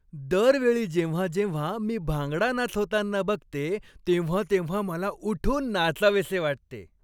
दर वेळी जेव्हा जेव्हा मी भांगडा नाच होताना बघते तेव्हा तेव्हा मला उठून नाचावेसे वाटते!